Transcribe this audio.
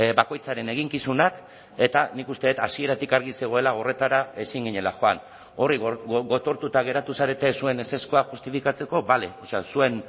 bakoitzaren eginkizunak eta nik uste dut hasieratik argi zegoela horretara ezin ginela joan hori gotortuta geratu zarete zuen ezezkoa justifikatzeko bale o sea